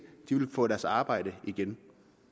vil få deres arbejde igen